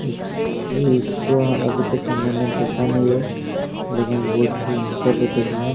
इस इसको अभी तक हमने देखा नही है लेकिन बोहत ही जल्द देखेंगे।